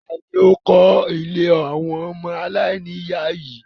Tani ó kọ ìlé awọn ọmọ alaini iya yii?